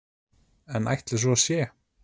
En ætli svo sé?